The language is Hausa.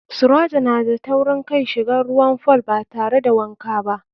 Sirajo na da taurin kai shigan ruwan fool batare da wanka ba.